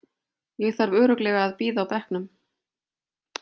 Ég þarf örugglega að bíða á bekknum.